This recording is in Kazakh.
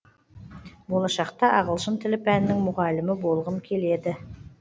болашақта ағылшын тілі пәнінің мұғалімі болғым келеді